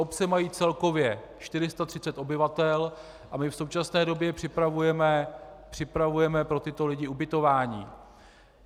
Obce mají celkově 430 obyvatel a my v současné době připravujeme pro tyto lidi ubytování.